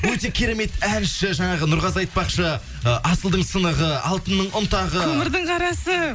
өте керемет әнші жаңағы нұрғазы айтпақшы ы асылдың сынығы алтынның ұнтағы көмірдің қарасы